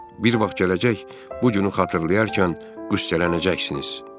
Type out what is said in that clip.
Bir vaxt gələcək, bu günü xatırlayarkən qüssələnəcəksiniz.